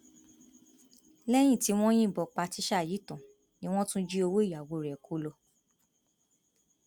lẹyìn tí wọn yìnbọn pa tíṣà yìí tán ni wọn tún jí owó ìyàwó rẹ kó lọ